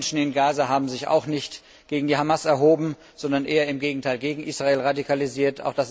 Die Menschen im Gaza haben sich auch nicht gegen die Hamas erhoben, sondern eher im Gegenteil gegen Israel radikalisiert.